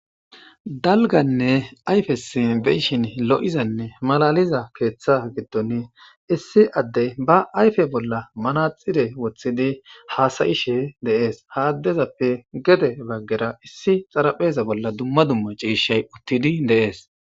Dalganne ayyfes beishin lo7izanne malaliza keeththa giddon issi addey ba ayfe bolla manaxire wothhidi haasayishe de7es ha addezappe gede baggera issi xarapheza bolla dumma dumma ciishay uttidi de7es.